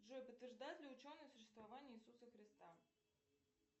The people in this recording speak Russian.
джой подтверждают ли ученые существование иисуса христа